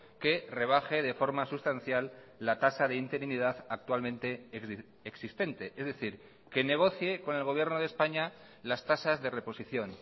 que rebaje de forma sustancial la tasa de interinidad actualmente existente es decir que negocie con el gobierno de españa las tasas de reposición